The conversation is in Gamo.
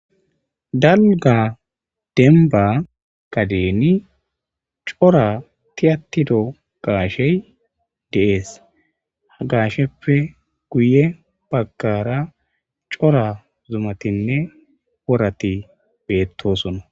Daligga denibba gadenni cora tiyatido gashsheyi de'ees.haa gashsheppe guye bagara cora zumattinne woratti betosonna .